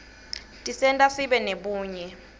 tisenta sibe nebunye